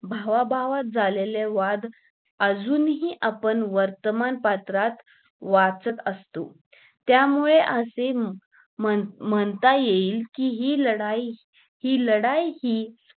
भावभावात झालेल्या वाद अजूनही आपण वर्तमान पात्रात वाचत असतो त्यामुळे असे म्हणता येईल कि हि लढाई लढाई हि लढाई लढाई कि